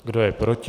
Kdo je proti?